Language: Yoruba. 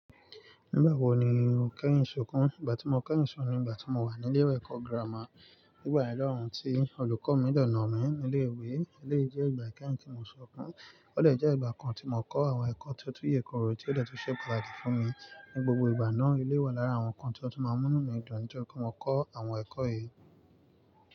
Nígbà wo ni o kẹ́yìn sunkún? Ìgbà tí mo kẹ́yìn sunkún ni ìgbà tí mo wà ní ilé ẹ̀kọ́ gírámà. Nígbà yẹn lòun tí olùkọ́ mi dẹ̀ nà mi nílé ìwé, èléyìí jẹ́ ìgbà ìkẹyìn tí mo sunkún. Ó dẹ̀ jẹ́ ìgbà kan tí mo kọ́ àwọn ẹ̀kọ́ tó tú yè kooro tí ó dẹ̀ tún ṣe pàtàkì fún mi. Ní gbogbo ìgbà náà, èléyìí wà lára àwọn nǹkan tí ó tún máa múnú mí dùn nítorí pé mo kọ́ àwọn ẹ̀kọ́ yìí.